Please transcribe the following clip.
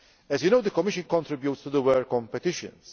As you know, the Commission contributes to the work on petitions.